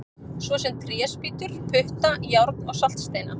Svo sem tréspýtur, putta, járn og saltsteina!